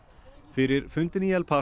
fyrir fundinn í El